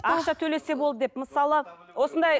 ақша төлесе болды деп мысалы осындай